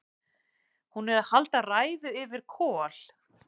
Hún er að halda ræðu yfir Kol: